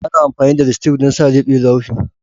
Ana amfani da lipstick don sa lebe laughing.